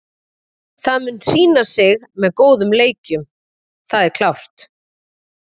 Það mun sýna sig með góðum leikjum, það er klárt.